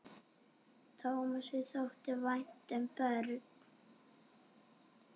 Tómasi þótti vænt um börn.